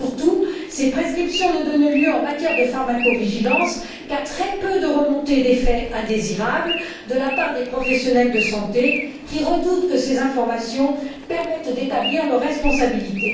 Surtout, elle ne donne lieu, en matière de pharmacovigilance, qu'à très peu de remontées d'effets indésirables de la part des professionnels de la santé, qui redoutent que ces informations permettent d'établir leur responsabilité.